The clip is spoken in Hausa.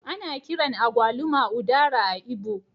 Ana kiran agwaluma Udara a'lgbo.